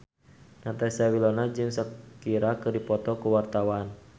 Natasha Wilona jeung Shakira keur dipoto ku wartawan